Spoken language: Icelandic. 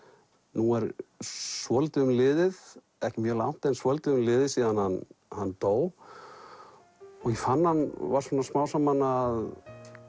nú er svolítið um liðið ekki mjög langt en svolítið um liðið síðan hann dó og að hann var smám saman að